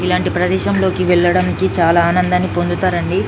ఇలాంటి ప్రదేశంలోకి వెళ్లడానికి చాలా ఆనందాన్ని పొందుతారండి.